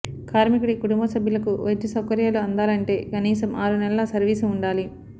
కార్మికుడి కుటుంబ సభ్యులకు వైద్యసౌకర్యాలు అందాలంటే కనీసం ఆరు నెలల సర్వీసు ఉండాలి